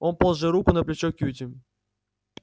он положил руку на плечо кьюти